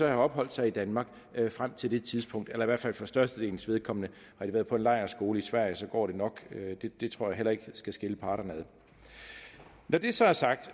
have opholdt sig i danmark frem til det tidspunkt eller i hvert fald for størstedelens vedkommende har de været på en lejrskole i sverige går det nok det tror jeg heller ikke skal skille parterne når det så er sagt